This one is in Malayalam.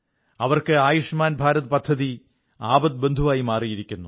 അവർക്ക് ആയുഷ്മാൻ ഭാരത് പദ്ധതി ആപദ്ബന്ധുവായി മാറിയിരിക്കുന്നു